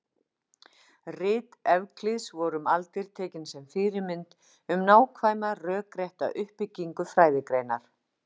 Rit Evklíðs voru um aldir tekin sem fyrirmynd um nákvæma rökrétta uppbyggingu fræðigreinar.